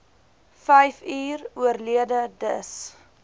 vyfuur oorlede dis